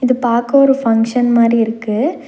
இது பாக்க ஒரு ஃபங்ஷன் மாரி இருக்கு.